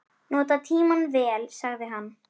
Nota tímann vel, sagði hann.